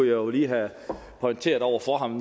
jo lige have pointeret over for ham